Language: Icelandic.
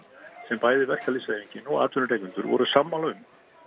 sem bæði verkalýðshreyfingin og atvinnurekendur voru sammála um